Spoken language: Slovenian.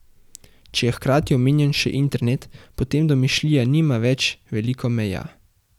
Če je hkrati omenjen še internet, potem domišljija nima več veliko meja ...